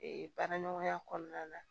baara ɲɔgɔnya kɔnɔna na